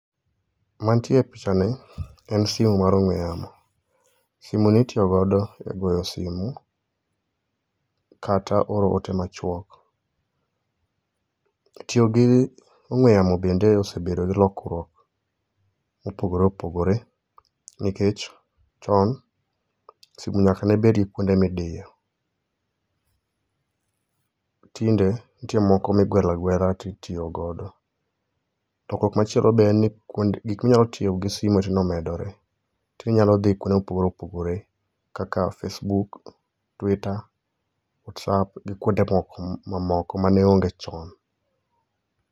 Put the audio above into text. Mantie e pichani en simu mar ong'we yamo. Simuni itiyogo e go simu kata oro ote machuok. Tiyo gi ong'we yamo bende osebedo gi lokruok mopogore opogore, nikech chon, simu nyaka nebedi gi kuonde midiyo, tinde, nitie moko migwelo agwela titiyogodo. To komachielo be en ni gik minyal tiyo gi simu tinde omedore, Ti inyalo dhi kuonde mopogore opogore kaka facebook, twitter, whatsaap gi kuonde mamoko mane onge chon.